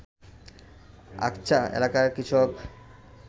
আকঁচা এলাকার কৃষক